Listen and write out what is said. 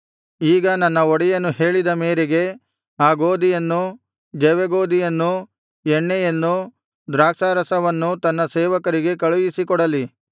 ಈಗ ನನ್ನ ಒಡೆಯನು ಹೇಳಿದ ಮೇರೆಗೆ ಆ ಗೋದಿಯನ್ನು ಜವೆಗೋದಿಯನ್ನು ಎಣ್ಣೆಯನ್ನು ದ್ರಾಕ್ಷಾರಸವನ್ನು ತನ್ನ ಸೇವಕರಿಗೆ ಕಳುಹಿಸಿಕೊಡಲಿ